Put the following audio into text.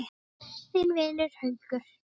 Þinn vinur, Haukur.